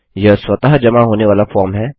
यह स्वतः जमा होने वाला फॉर्म है